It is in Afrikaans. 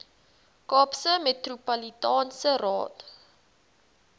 kaapse metropolitaanse raad